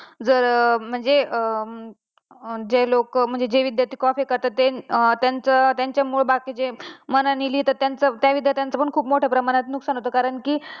जर म्हणजे जे लोक जे विध्यार्थी copy करतात त्यांचं मुळे बाकीचे मनाने लिहितात त्यांचं, त्या विद्यार्थ्यांचं पण खूप मोठं प्रमाणात नुकसान होत कारण की